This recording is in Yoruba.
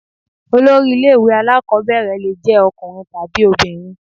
Head of a Primary school may be male or female.